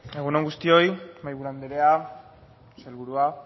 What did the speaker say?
egun on guztioi mahaiburu andrea sailburua